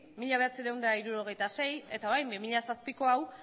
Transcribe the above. mila bederatziehun eta hirurogeita sei eta orain bi mila zazpiko hau